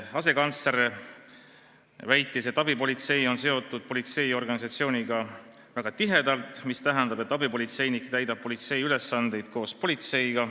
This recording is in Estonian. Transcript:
Asekantsler väitis, et abipolitsei on politseiorganisatsiooniga väga tihedalt seotud, mis tähendab, et abipolitseinik täidab politsei ülesandeid koos politseinikuga.